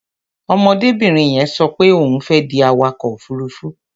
Ọmọdébìnrin yẹn sọ pé òun fẹ́ di awakọ̀ òfuruufú.